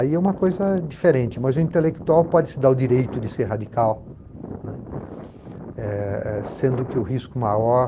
Aí é uma coisa diferente, mas o intelectual pode se dar o direito de ser radical, né, eh eh sendo que o risco maior